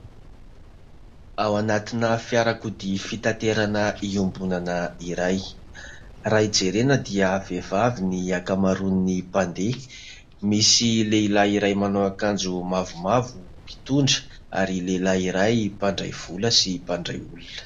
Ao anatina fiarakodia fitaterana iombonana iray, raha jerena dia vehivavy ny ankamaroan'ny mpandeha, misy lehilahy iray manao akanjo mavomavo mpitondra ary lehilahy iray mpandray vola sy mpandray olona.